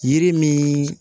Yiri min